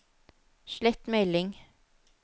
slett melding